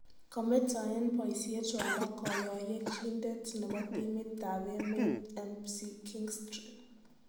Kametaen boisiet Rwanda kayoyeechindet nebo timitab emeet Mckinstry